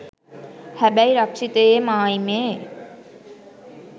හැබැයි රක්ෂිතයේ මායිමේ